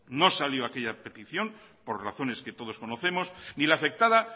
no salió aquella petición por razones que todos conocemos ni la afectada